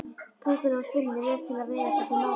Köngulóin spinnur vef til að veiða sér til matar.